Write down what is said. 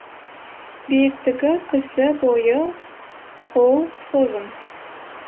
биіктігі кісі бойы қол созым